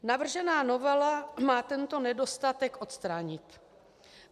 Navržená novela má tento nedostatek odstranit.